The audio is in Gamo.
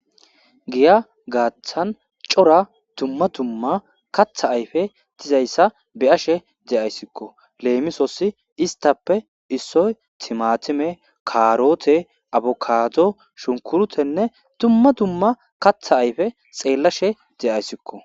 Giya gaaththan cora dumma tumma katha ayfe dizayssa beyashe de7ayssikko leemisossi istappe issoy timatime kaaroote abokaado shunkurutenne tumma dumma katha ayfe xeellashe de7ayssikko